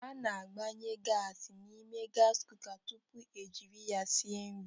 A na-agbanye gasị n'ime gasị kuka tupu e jiri ya sie nri.